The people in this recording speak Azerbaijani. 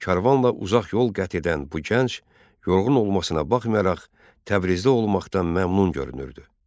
Karvanla uzaq yol qət edən bu gənc yorğun olmasına baxmayaraq Təbrizdə olmaqdan məmnun görünürdü.